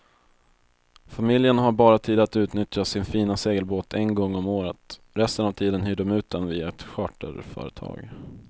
Familjen har bara tid att utnyttja sin fina segelbåt en gång om året, resten av tiden hyr de ut den via ett charterföretag.